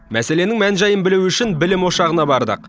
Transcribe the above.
мәселенің мән жайын білу үшін білім ошағына бардық